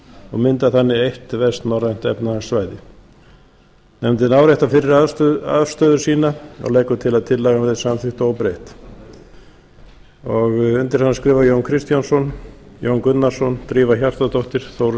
og mynda þannig eitt vestnorrænt efnahagssvæði nefndin áréttar fyrri afstöðu sína og leggur til að tillagan verði samþykkt óbreytt undir hann skrifa jón kristjánsson jón gunnarsson drífa hjartardóttir þórunn